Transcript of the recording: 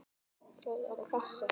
Þau eru þessi